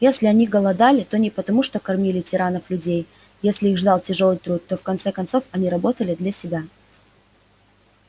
если они голодали то не потому что кормили тиранов-людей если их ждал тяжёлый труд то в конце концов они работали для себя